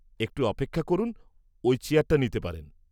-একটু অপেক্ষা করুন, ওই চেয়ারটা নিতে পারেন।